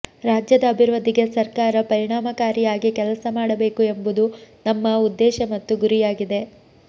ರಾಜ್ಯದ ಅಭಿವೃದ್ಧಿಗೆ ಸರ್ಕಾರ ಪರಿಣಾಮಕಾರಿಯಾಗಿ ಕೆಲಸ ಮಾಡಬೇಕು ಎಂಬುದು ನಮ್ಮ ಉದ್ದೇಶ ಮತ್ತು ಗುರಿಯಾಗಿದೆ